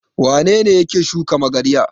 Wane ne yake shuka magarya?